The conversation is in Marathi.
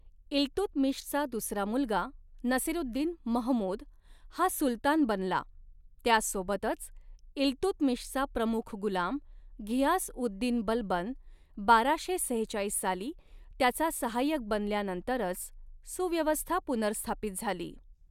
इल्तुतमिशचा दुसरा मुलगा नसिरुद्दीन महमूद, हा सुलतान बनला, त्यासोबतच इल्तुतमिशचा प्रमुख गुलाम, घियास उद दीन बलबन, बाराशे सेहेचाळीस साली त्याचा सहाय्यक बनल्यानंतरच, सुव्यवस्था पुनर्स्थापित झाली.